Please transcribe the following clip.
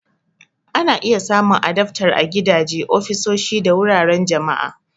Ana iya samun adaftar a gidaje, ofisoshi, da wuraren jama'a.